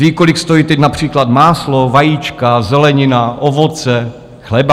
Ví, kolik stojí teď například máslo, vajíčka, zelenina, ovoce, chleba?